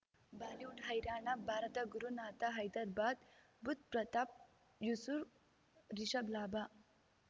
Bollywood ಹೈರಾಣ Bharata Gurunath Hyderabad Budh Pratap Yusuf Rishabh ಲಾಭ